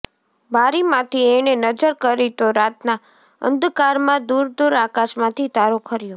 બારીમાંથી એણે નજર કરી તો રાતના અંધકારમાં દૂરદૂર આકાશમાંથી તારો ખર્યો